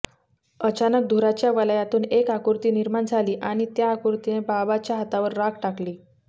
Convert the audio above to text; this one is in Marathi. अचानक धुराच्या वलयातून एक आकृती निर्माण झाली आणि त्या आकृतीने बाबाच्या हातावर राख टाकली